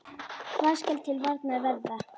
Hvað skal til varnar verða?